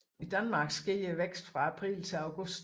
I Danmark sker væksten fra april til august